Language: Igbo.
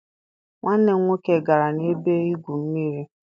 Nwanne m nwoke gara na-ebe igwụ mmiri.